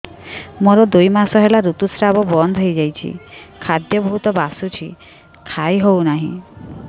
ମୋର ଦୁଇ ମାସ ହେଲା ଋତୁ ସ୍ରାବ ବନ୍ଦ ହେଇଯାଇଛି ଖାଦ୍ୟ ବହୁତ ବାସୁଛି ଖାଇ ହଉ ନାହିଁ